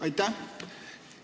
Aitäh!